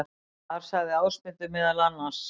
Þar sagði Ásmundur meðal annars: